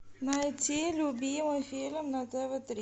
найти любимый фильм на тв три